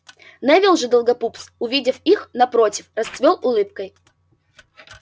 невилл же долгопупс увидев их напротив расцвёл улыбкой